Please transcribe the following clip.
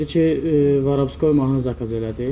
Dedi ki, "Vorovskoy mahnı zakaz elədi".